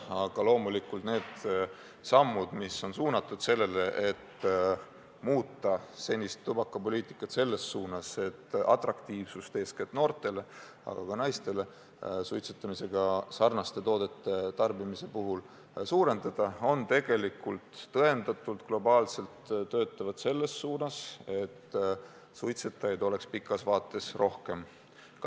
Aga loomulikult need sammud, mis on suunatud sellele, et muuta senist tubakapoliitikat selles suunas, et nende toodete atraktiivsust – eeskätt noorte, aga ka naiste silmis – suurendada, töötavad globaalselt selles suunas, et suitsetajaid oleks pikas vaates rohkem.